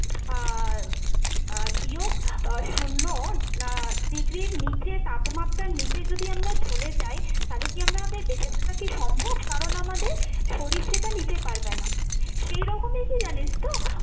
আহ আহ বিয়োগ আহ শূন্য আহ degree ইর নীচে তাপমাত্রার নিচে যদি আমরা চলে যাই তালে কী আমরা আমাদের বেচেঁ থাকা কী সম্ভব? কারণ আমাদের শরীর সেটা নিতে পারবে না। সেইরকমই কী জানিস তো